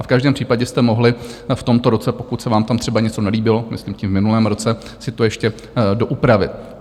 A v každém případě jste mohli v tomto roce, pokud se vám tam třeba něco nelíbilo, myslím tím v minulém roce, si to ještě doupravit.